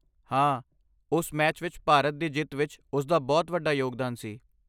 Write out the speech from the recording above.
ਹਾਂ, ਉਸ ਮੈਚ ਵਿਚ ਭਾਰਤ ਦੀ ਜਿੱਤ ਵਿੱਚ ਉਸ ਦਾ ਬਹੁਤ ਵੱਡਾ ਯੋਗਦਾਨ ਸੀ।